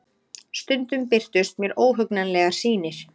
Stundum birtust mér óhugnanlegar sýnir.